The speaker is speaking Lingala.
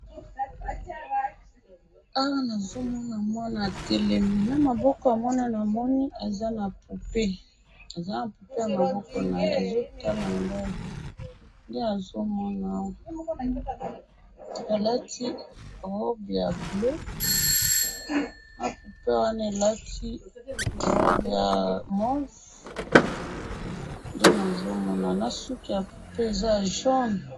Awa nazomona mwana atelemi, namaboko ya mwana namoni aza na poupée, aza na poupée namaboko naye, azotala ngayi, nde nazomona awa, alati robe ya bleu, na poupée wana alati robe ya mauve, nde nazomona, nasuki ya poupée eza ya jaune.